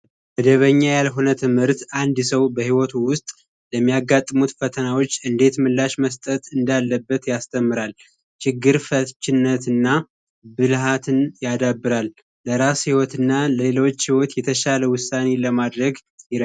መደበኛ ያልሆነ ትምርት አንድ ሰው በሕይወቱ ውስጥ ለሚያጋጥሙት ፈተናዎች እንዴት ምላሽ መስጠት እንዳለበት ያስተምራል። ችግር ፈችነት ና ብልሃትን ያዳብራል። ለራስ ሕይወት እና ሌሎች ሕይወት የተሻለ ውሳኒ ለማድረግ ይረዳል።